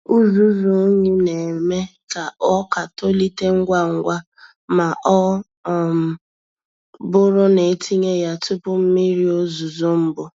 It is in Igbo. Uzuzu unyi na-eme ka ọka tolite ngwa ngwa ma ọ um bụrụ na etinye ya tupu mmiri ozuzo mbụ.